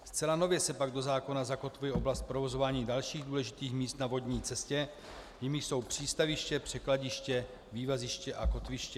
Zcela nově se pak do zákona zakotvuje oblast provozování dalších důležitých míst na vodní cestě, jimiž jsou přístaviště, překladiště, vývaziště a kotviště.